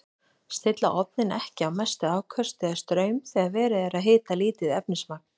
Stilla ofninn ekki á mestu afköst eða straum þegar verið er að hita lítið efnismagn.